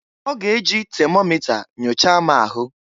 Ọ g'e ji temomịta nyochaa m ahụ.